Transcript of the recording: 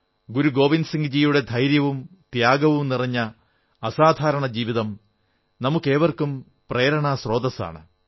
ഗുരു ഗോവിന്ദ് സിംഗ്ജീയുടെ ധൈര്യവും ത്യാഗവും നിറഞ്ഞ അസാധാരണ ജീവിതം നമുക്കേവർക്കും പ്രേരണാസ്രോതസ്സാണ്